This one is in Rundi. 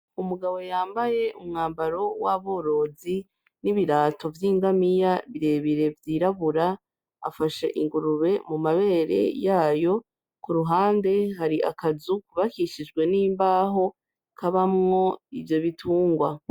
Umugabo y'ambaye umwambaro w'aborozi n'ibirato vy'ingamiya birebire vyirabura, afashe ingurube mu mabere yayo, kuruhande hari akazu kubakishijwe n'imbaho kabamwo ivyo bitungwa.